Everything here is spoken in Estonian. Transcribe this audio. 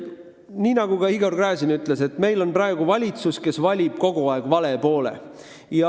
Nii nagu Igor Gräzin ütles, meil on praegu valitsus, kes valib kogu aeg vale poole.